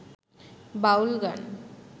বাউল গান